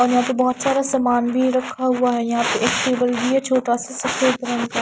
और यहां पे बहुत सारा सामान भी रखा हुआ है यहां पे एक टेबल भी है छोटा सा सफेद रंग का।